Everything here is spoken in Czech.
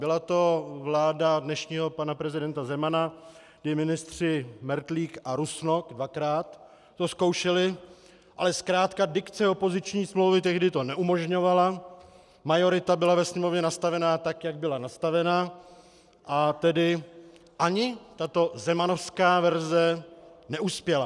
Byla to vláda dnešního pana prezidenta Zemana, kdy ministři Mertlík a Rusnok dvakrát to zkoušeli, ale zkrátka dikce opoziční smlouvy tehdy to neumožňovala, majorita byla ve Sněmovně nastavena tak, jak byla nastavena, a tedy ani tato zemanovská verze neuspěla.